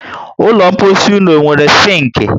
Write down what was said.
Ụlọ mposi ụnụ ọ nwéré sinki?